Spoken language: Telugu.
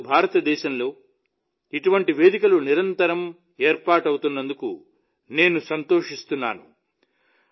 ఈ రోజు భారతదేశంలో ఇటువంటి కొత్త వేదికలు నిరంతరం ఏర్పాటవుతున్నందుకు నేను సంతోషిస్తున్నాను